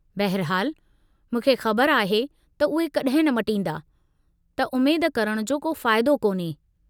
बहिरहालु, मूंखे ख़बर आहे त उहे कॾहिं न मटींदा, त उमेद करणु जो को फ़ाइदो कोन्हे।